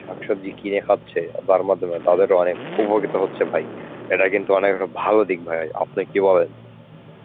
শাকসবজি কিনে খাচ্ছে, যার মাধ্যমে তাদেরও অনেক উপকৃত হচ্ছে ভাই. এটা কিন্তু অনেক ভালো দিক ভাই, আপনি কি বলেন?